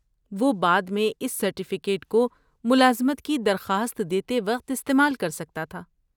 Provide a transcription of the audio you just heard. وہ بعد میں اس سرٹیفکیٹ کو ملازمت کی درخواست دیتے وقت استعمال کر سکتا تھا۔